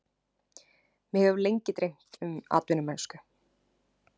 Mig hefur lengi dreymt um atvinnumennsku